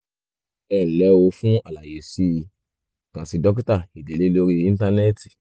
ẹnlẹ́ o fún àlàyé síwájú sí i kàn sí dókítà ìdílé lórí íńtánẹ́ẹ̀tì